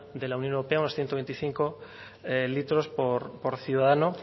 de la unión europea unos ciento veinticinco litros por ciudadanos